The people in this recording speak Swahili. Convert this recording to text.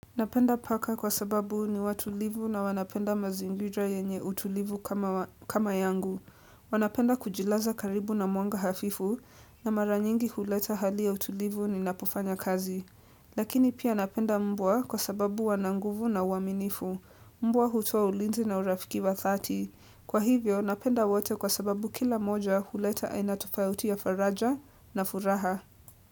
Napenda paka kwa sababu ni watulivu na wanapenda mazingira yenye utulivu kama yangu. Wanapenda kujilaza karibu na mwanga hafifu na mara nyingi huleta hali ya utulivu ninapofanya kazi. Lakini pia napenda mbwa kwa sababu wana nguvu na uaminifu. Mbwa hutoa ulinzi na urafiki wa dhati. Kwa hivyo napenda wote kwa sababu kila moja huleta aina tofauti ya faraja na furaha.